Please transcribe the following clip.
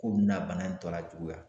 Ko bɛna bana in tɔ lajuguya